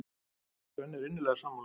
Svenni er innilega sammála.